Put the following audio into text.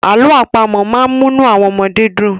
Àlọ́ máa ń múnú àwọn ọmọdé dùn.